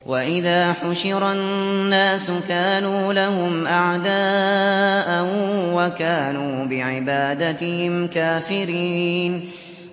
وَإِذَا حُشِرَ النَّاسُ كَانُوا لَهُمْ أَعْدَاءً وَكَانُوا بِعِبَادَتِهِمْ كَافِرِينَ